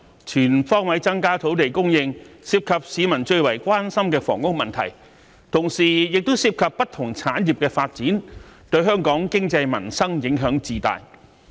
全方位增加土地供應，涉及市民最為關心的房屋問題，同時亦涉及不同產業的發展，對香港經濟民生影響至大。